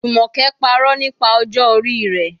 Jumoke parọ́ nípa ọjọ́ orí rẹ̀.